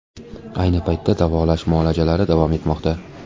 Ayni paytda davolash muolajalari davom etmoqda.